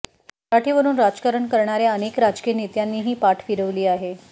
मराठीवरून राजकारण करणाऱ्या अनेक राजकीय नेत्यांनीही फिरवली पाठ फिरवली आहे